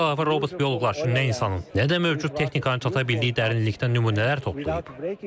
Bundan əlavə robot bioloqlar üçün nə insanın, nə də mövcud texnikanın çata bildiyi dərinlikdə nümunələr toplayıb.